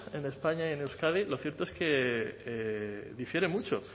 en españa y en euskadi lo cierto es que difiere mucho